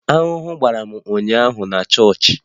Aṅụ gbara m ụnyaahụ na chọọchị